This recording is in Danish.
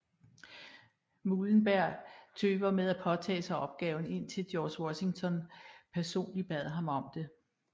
Muhlenberg tøvede med at påtage sig opgaven indtil George Washington personligt bad ham om det